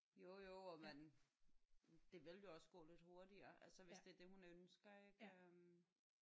Jo jo og man det vil jo også gå lidt hurtigere altså hvis det er det hun ønsker ik øh